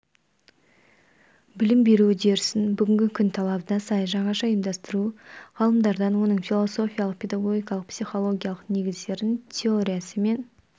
білім беру үдерісін бүгінгі күн талабына сай жаңаша ұйымдастыру ғалымдардан оның философиялық педагогикалық-психологиялық негіздерін теориясы мен